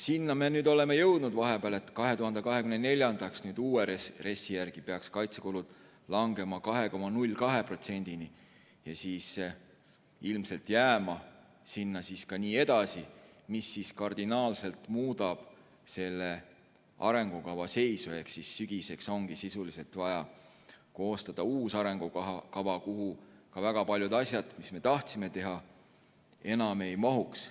Vahepeal me oleme jõudnud selleni, et 2024. aastaks peaks uue RES-i järgi kaitsekulud langema 2,02%-ni ja siis ilmselt jääma ka edaspidi, mis kardinaalselt muudab selle arengukava seisu ehk siis sügiseks ongi sisuliselt vaja koostada uus arengukava, kuhu väga paljud asjad, mis me tahtsime teha, enam ei mahuks.